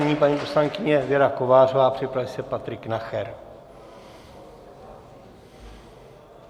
Nyní paní poslankyně Věra Kovářová, připraví se Patrik Nacher.